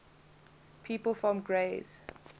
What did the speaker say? people from grays